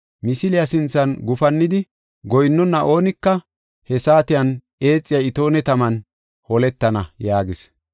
Misiliya sinthan gufannidi goyinnona oonika, he saatiyan eexiya itoone taman holetana” yaagis.